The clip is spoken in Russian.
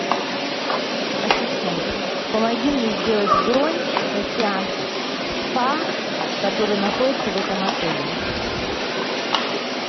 ассистент помоги мне сделать бронь на сеанс в спа который находится в этом отеле